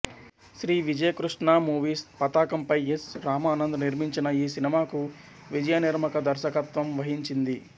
Shri Vijayakrishna movies పతాకంపై S Ramanand నిర్మించిన ఈ సినిమాకు విజయనిర్మక దర్శకత్వం వహించింది